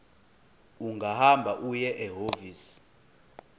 ungahamba uye ehhovisi